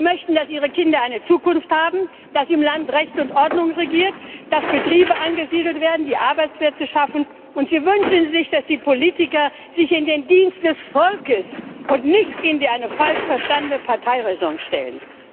Sie möchten, dass ihre Kinder eine Zukunft haben, dass im Land Recht und Ordnung regiert, dass Betriebe angesiedelt werden, die Arbeitsplätze schaffen, und sie wünschen sich, dass die Politiker sich in den Dienst des Volkes und nicht hinter eine falsch verstandene Parteiräson stellen.